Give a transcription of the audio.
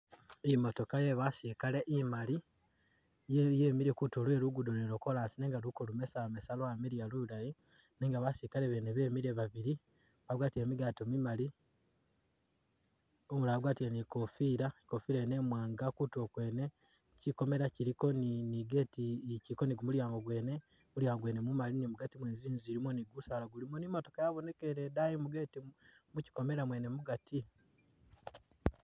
Imotooka ye basilikale imali ye yemile kutulo lwe lugudo lwene lwo chorus nenga luko lumesamesa lwamiliya lulayi nenga basilikale bene bemile babili bagwatile migaato mimali ,umulala wagwatile ni kofila ,ikofila yene imwanga kutulo kwene kyikomela kyiliko ni ni gate, kyiliko ni gumulyango gwene ,mulyango gwene ni mugaati mwene zinzu zilimo ni gusaala gulimo ni'matooka yabonekele edayi mu gate mukyikomela mwene mugati